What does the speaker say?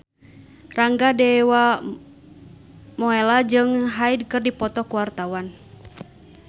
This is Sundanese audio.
Rangga Dewamoela jeung Hyde keur dipoto ku wartawan